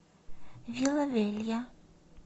вила велья